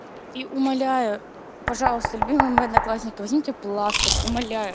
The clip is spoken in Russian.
и умоляю пожалуйста любимый мой одноклассник возьмите пластырь умоляю